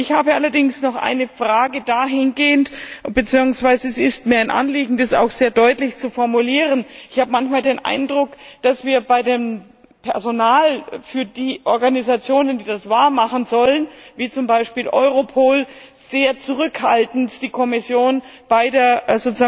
Ich habe allerdings noch eine Frage dahingehend bzw. es ist mir ein Anliegen, das auch sehr deutlich zu formulieren Ich habe manchmal den Eindruck, dass die Kommission bei dem Personal für die Organisationen, die das wahr machen sollen wie zum Beispiel Europol sehr zurückhaltend agiert.